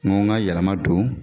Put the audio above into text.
N ka yɛlɛma don